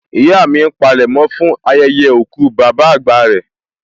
Ìyá mi ń palẹ̀mọ́ fún ayẹyẹ òkú bàbá àgbà rẹ